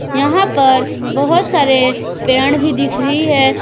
यहां पर बहोत सारे पेड़ भी दिख रही है।